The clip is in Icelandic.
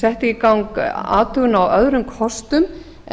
setti í gang athugun á öðrum kostum